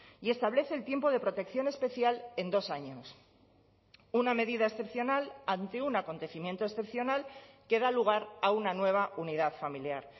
y establece el tiempo de protección especial en dos años una medida excepcional ante un acontecimiento excepcional que da lugar a una nueva unidad familiar